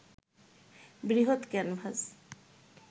বৃহৎ ক্যানভাস